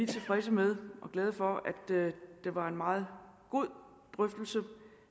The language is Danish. tilfredse med og glade for at det var en meget god drøftelse